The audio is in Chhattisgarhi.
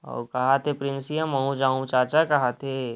ओ कहाथे प्रिंसी ह महू जआहू चाचा कहां थे।